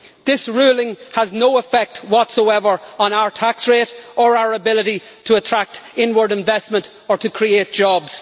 This ruling has no effect whatsoever on our tax rate or our ability to attract inward investment or to create jobs.